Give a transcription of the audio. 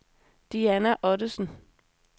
Diana Ottesen